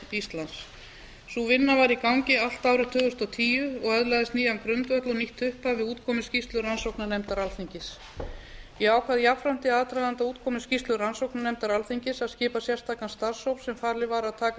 íslands sú vinna var í gangi allt árið tvö þúsund og tíu og öðlaðist nýjan grundvöll og nýtt upphaf við útkomu skýrslu rannsóknarnefndar alþingis ég ákvað jafnframt í aðdraganda útkomu skýrslu rannsóknarnefndar alþingis að skipa sérstakan starfshóp sem falið var að taka